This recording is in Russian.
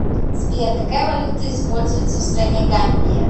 сбер какая валюта используется в стране гамбия